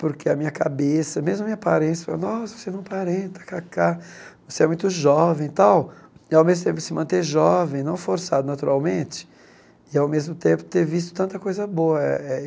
porque a minha cabeça, mesmo a minha aparência, falam nossa você não aparenta ká ká, você é muito jovem e tal, e, ao mesmo tempo, se manter jovem, não forçado naturalmente, e, ao mesmo tempo, ter visto tanta coisa boa. Eh eh